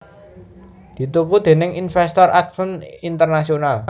dituku déning invèstor Advent International